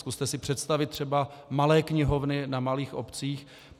Zkuste si představit třeba malé knihovny na malých obcích.